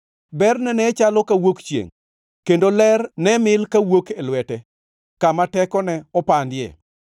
Berne ne chalo kawuok chiengʼ; kendo ler ne mil ka wuok e lwete, kama tekone opandie.